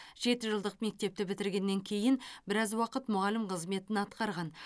жеті жылдық мектепті бітіргеннен кейін біраз уақыт мұғалім қызметін атқарған